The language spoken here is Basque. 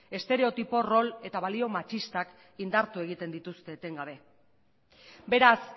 estereotipo rol eta balio matxistak indartu egiten dituzte etengabe beraz